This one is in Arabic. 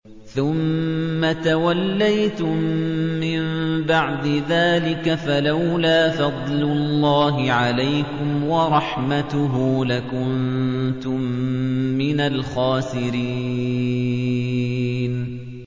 ثُمَّ تَوَلَّيْتُم مِّن بَعْدِ ذَٰلِكَ ۖ فَلَوْلَا فَضْلُ اللَّهِ عَلَيْكُمْ وَرَحْمَتُهُ لَكُنتُم مِّنَ الْخَاسِرِينَ